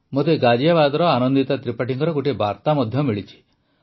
ମୋତେ ଗାଜିୟାବାଦର ଆନନ୍ଦିତା ତ୍ରିପାଠୀଙ୍କ ଗୋଟିଏ ବାର୍ତ୍ତା ମଧ୍ୟ ମିଳିଛି